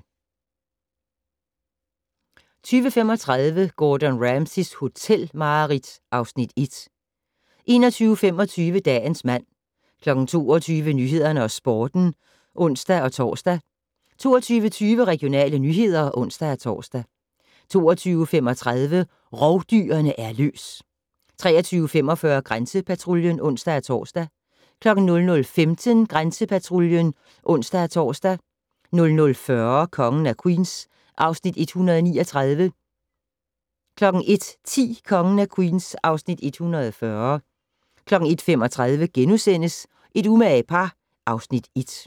20:35: Gordon Ramsays hotelmareridt (Afs. 1) 21:25: Dagens mand 22:00: Nyhederne og Sporten (ons-tor) 22:20: Regionale nyheder (ons-tor) 22:35: Rovdyrene er løs! 23:45: Grænsepatruljen (ons-tor) 00:15: Grænsepatruljen (ons-tor) 00:40: Kongen af Queens (Afs. 139) 01:10: Kongen af Queens (Afs. 140) 01:35: Et umage par (Afs. 1)*